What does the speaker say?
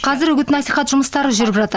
қазір үгіт насихат жұмыстары жүріп жатыр